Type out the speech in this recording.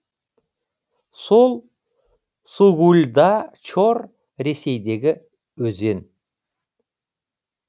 сол сугульда чор ресейдегі өзен